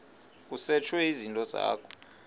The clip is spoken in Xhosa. kusetshwe izinto zakho